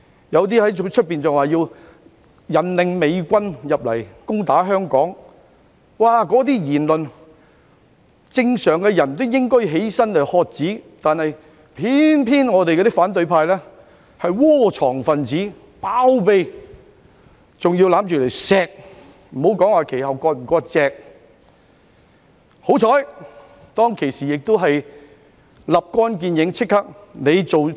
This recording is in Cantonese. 有些人更在外面說甚麼引領美軍入城攻打香港，正常人聽到這些言論也會站起來喝止，但偏偏反對派窩藏和包庇這些分子，更擁着他們加以疼惜，也不說之後有否割席了。